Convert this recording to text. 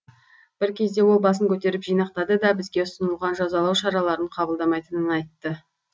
бір кезде ол басын көтеріп жинақтады да бізге ұсынылған жазалау шараларын қабылдамайтынын айтты